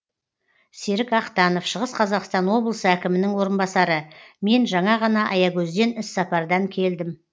серік ақтанов шығыс қазақстан облысы әкімінің орынбасары мен жаңа ғана аягөзден іссапардан келдім